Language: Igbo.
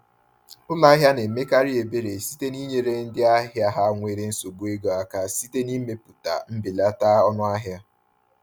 Ụlọ ahịa na-emekarị ebere site n’inyere ndị ahịa ha nwere nsogbu ego aka site n’imepụta mbelata ọnụahịa.